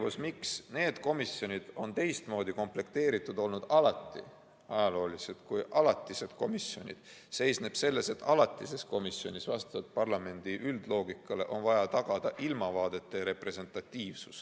Põhjus, miks need komisjonid on alati olnud teistmoodi komplekteeritud kui alatised komisjonid, seisneb selles, et alatises komisjonis on parlamendi üldloogika järgi vaja tagada ilmavaadete representatiivsus.